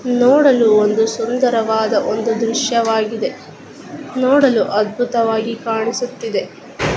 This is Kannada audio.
ನೋಡಲು ಒಂದು ಸುಂದರವಾದ ಒಂದು ದೃಶ್ಯವಾಗಿದೆ. ನೋಡಲು ಅದ್ಭುತವಾಗಿ ಕಾಣಿಸುತ್ತಿದೆ.